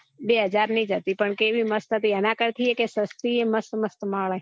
બે હજાર ની જ હતી પણ કેવી મસ્ત હતી એના કરતી એ સસ્તી મસ્ત મસ્ત મળે